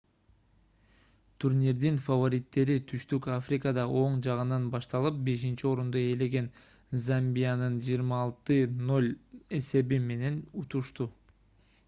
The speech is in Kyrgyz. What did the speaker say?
турнирдин фавориттери туштүк африкада оң жагынан башташып 5-орунду ээлеген замбияны 26-00 эсеби менен утушту